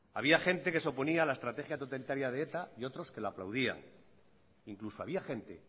había gente que se oponía a la estrategia totalitaria de eta y otros que la aplaudían incluso había gente